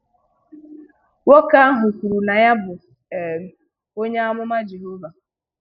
Nwoke ahụ kwuru na ya bụ um onye amụma Jehova.